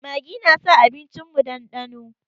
Maggi na sa abincin mu ɗanɗano